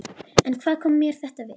En hvað kom mér þetta við?